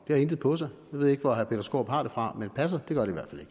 det har intet på sig jeg ved ikke hvor herre peter skaarup har det fra men det passer